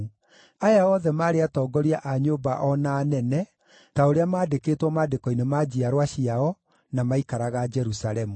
Aya othe maarĩ atongoria a nyũmba o na anene, ta ũrĩa maandĩkĩtwo maandĩko-inĩ ma njiarwa ciao, na maaikaraga Jerusalemu.